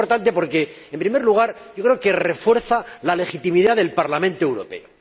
Muy importante porque, en primer lugar, creo que refuerza la legitimidad del Parlamento Europeo.